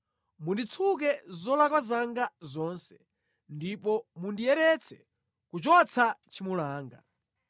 Munditsuke zolakwa zanga zonse ndipo mundiyeretse kuchotsa tchimo langa.